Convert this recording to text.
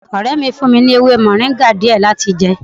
Ọrẹ mi fún mi ní ewé moringa díẹ̀ láti jẹ